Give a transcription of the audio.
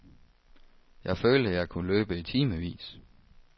Jeg følte, jeg kunne løbe i timevis.